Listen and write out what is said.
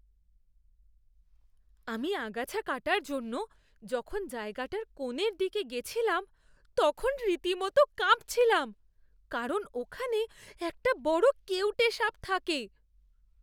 আমি আগাছা কাটার জন্য যখন জায়গাটার কোণের দিকে গেছিলাম, তখন রীতিমত কাঁপছিলাম কারণ ওখানে একটা বড় কেউটে সাপ থাকে।